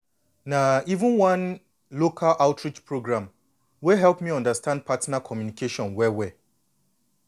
na even one local outreach program wey help me understand partner communication well well.